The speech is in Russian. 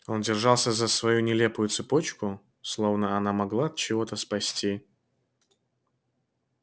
он держался за свою нелепую цепочку словно она могла от чего-то спасти